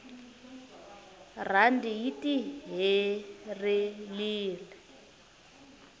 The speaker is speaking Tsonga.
randi yi tiherelire